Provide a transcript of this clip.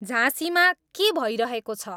झाँसीमा के भइरहेको छ